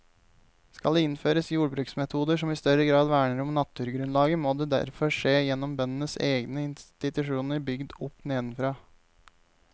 Skal det innføres jordbruksmetoder som i større grad verner om naturgrunnlaget, må det derfor skje gjennom bøndenes egne institusjoner bygd opp nedenfra.